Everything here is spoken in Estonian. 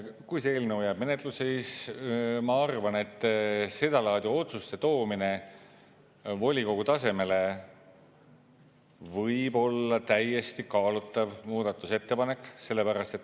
Kui see eelnõu jääb menetlusse, siis ma arvan, et seda laadi otsuste toomine volikogu tasemele võib olla täiesti kaalutav muudatusettepanek.